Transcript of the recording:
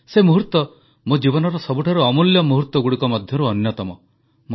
ସେ ମୁହୂର୍ତ୍ତ ମୋ ଜୀବନର ସବୁଠାରୁ ଅମୂଲ୍ୟ ମୁହୂର୍ତ୍ତଗୁଡ଼ିକ ମଧ୍ୟରୁ ଅନ୍ୟତମ